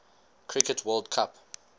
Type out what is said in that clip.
cricket world cup